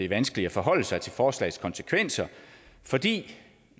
vanskeligt at forholde sig til forslagets konsekvenser fordi